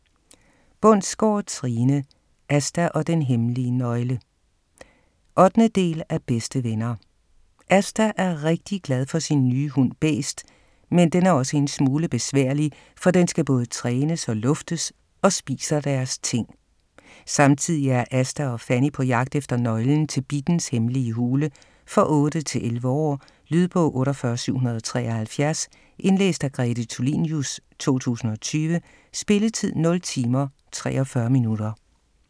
Bundsgaard, Trine: Asta og den hemmelige nøgle 8. del af Bedste venner. Asta er rigtig glad for sin nye hund Bæst, men den er også en smule besværlig, for den skal både trænes og luftes og spiser deres ting. Samtidig er Asta og Fanny på jagt efter nøglen til Bittens hemmelige hule. For 8-11 år. Lydbog 48773 Indlæst af Grete Tulinius, 2020. Spilletid: 0 timer, 43 minutter.